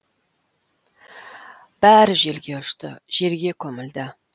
бәрі желге ұшты жерге көмілді